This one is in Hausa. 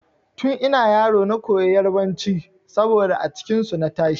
Tun ina yaro na koyi yarbanci saboda a cikin su na tashi.